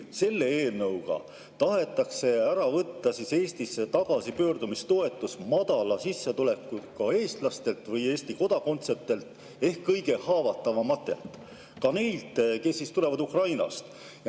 Selle eelnõuga tahetakse Eestisse tagasipöörduja toetus ära võtta madala sissetulekuga eestlastelt või Eesti kodakondsetelt ehk kõige haavatavamatelt, ka neilt, kes tulevad Ukrainast.